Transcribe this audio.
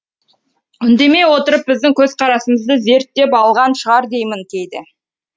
үндемей отырып біздің көзқарасымызды зерттеп алған шығар деймін кейде